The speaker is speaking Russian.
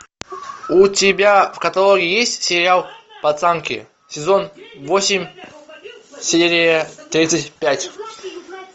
у тебя в каталоге есть сериал пацанки сезон восемь серия тридцать пять